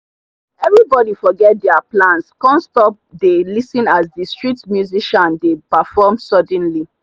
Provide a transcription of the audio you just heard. everybody forget their plans come stop dey lis ten as the street musician dey perform suddenly.